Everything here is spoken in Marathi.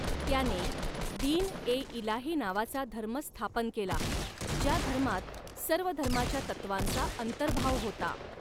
त्याने दिन ए इलाही नावाचा धर्म स्थापन केला ज्या धर्मात सर्व धर्माच्या तत्वांचा अंतर्भाव होता.